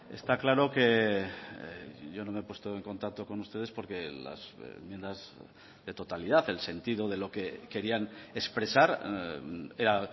está claro que yo no me he puesto en contacto con ustedes porque las enmiendas de totalidad el sentido de lo que querían expresar era